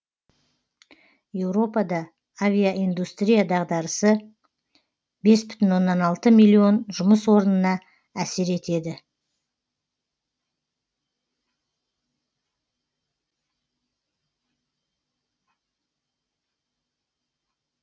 еуропада авиаиндустрия дағдарысы бес бүтін оннан алты миллион жұмыс орнына әсер етеді